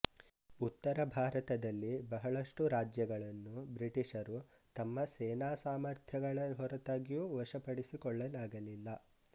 ಉತ್ತರ ಭಾರತದಲ್ಲಿ ಬಹಳಷ್ಟು ರಾಜ್ಯಗಳನ್ನು ಬ್ರಿಟಿಷರು ತಮ್ಮ ಸೇನಾ ಸಾಮರ್ಥ್ಯಗಳ ಹೊರತಾಗಿಯೂ ವಶಪಡಿಸಿಕೊಳ್ಳಲಾಗಲಿಲ್ಲ